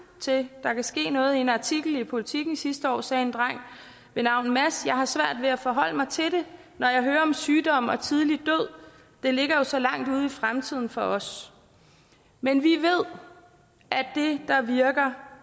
til at der kan ske noget i en artikel i politiken sidste år sagde en dreng ved navn mads jeg har svært ved at forholde mig til det når jeg hører om sygdom og tidlig død det ligger jo så langt ude i fremtiden for os men vi ved at det der virker